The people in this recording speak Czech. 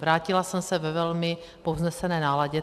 Vrátila jsem se ve velmi povznesené náladě.